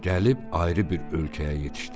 Gəlib ayrı bir ölkəyə yetişdilər.